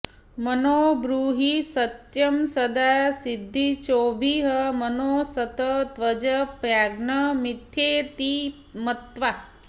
मनो ब्रूहि सत्यं सदा सद्विचोभिः मनोऽसत् त्यज प्राज्ञ मिथ्येति मत्वा